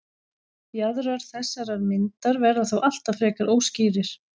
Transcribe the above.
jaðrar þessarar myndar verða þó alltaf frekar óskýrir